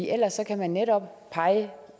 ellers kan man netop pege